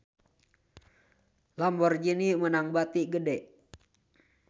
Lamborghini meunang bati gede